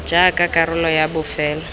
r jaaka karolo ya bofelo